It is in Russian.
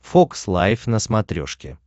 фокс лайф на смотрешке